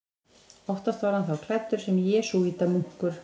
Oftast var hann þá klæddur sem jesúítamunkur.